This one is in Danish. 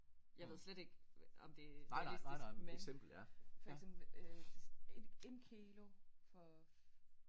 Jeg ved slet ikke om det er realistisk men for eksempel en en kilo for